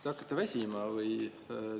Te hakkate väsima või?